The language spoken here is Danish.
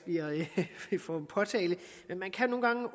får en påtale man kan nogle gange